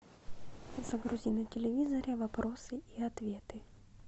загрузи на телевизоре вопросы и ответы